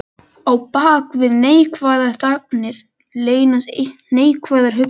Á bak við neikvæðar þagnir leynast neikvæðar hugsanir.